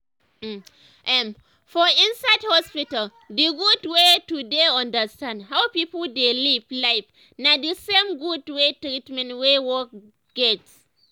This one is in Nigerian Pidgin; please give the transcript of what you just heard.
um ermmm for inside hospital d gud wey to dey understand how pipo dey live life na d same gud wey treatment wey work get.